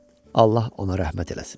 Allah ona rəhmət eləsin.